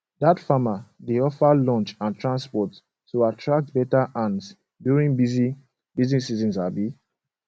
dat farmer dey offer lunch and transport to attract better hands during busy busy season um